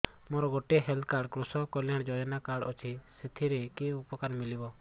ମୋର ଗୋଟିଏ health card କୃଷକ କଲ୍ୟାଣ ଯୋଜନା କାର୍ଡ ଅଛି ସାଥିରେ କି ଉପକାର ମିଳିବ